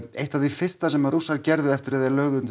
eitt af því fyrsta sem Rússar gerðu eftir að þeir lögðu undir